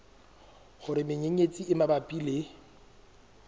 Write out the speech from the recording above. hore menyenyetsi e mabapi le